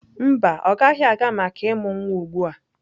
Mba, ọ gaghị aga maka ịmụ nwa ugbu a.